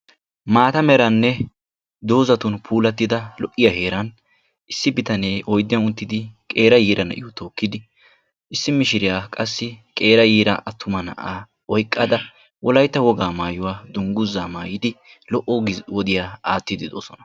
Maata meranne doozatun puulattida lo"iyaa heeraan issi bitanee oyddiyan uttidi qeera yiira na'iyo tookkidi, issi mishiriya qassi qeera yiira attuma na'aa oyqqada wolaytta woga maayuwa dungguza maayidi lo"o wodiya aattide de'oosona.